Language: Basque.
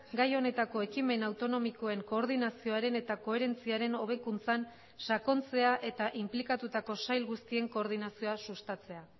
gai honetako ekimen autonomikoen koordinazioaren eta koherentziaren hobekuntzan sakontzea eta inplikatutako sail guztien koordinazioa sustatzea